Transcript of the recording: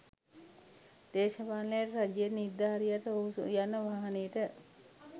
දේශපාලනඥයාට රජයේ නිලධාරියාට ඔහු යන වාහනයට